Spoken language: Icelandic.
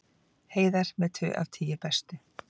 Heiðar með tvö af tíu bestu